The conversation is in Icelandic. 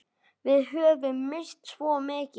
Við höfum misst svo mikið.